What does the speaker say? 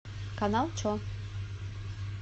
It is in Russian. канал че